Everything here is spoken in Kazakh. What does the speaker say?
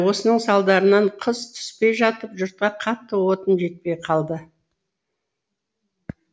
осының салдарынан қыс түспей жатып жұртқа қатты отын жетпей қалды